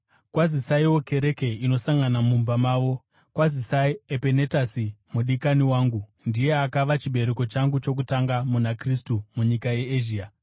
Kwazisaiwo kereke inosangana mumba mavo. Kwazisai Epenetasi mudikani wangu, ndiye akava chibereko changu chokutanga muna Kristu munyika yeEzhia.